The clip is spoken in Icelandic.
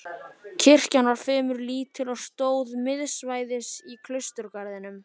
Kirkjan var fremur lítil og stóð miðsvæðis í klausturgarðinum.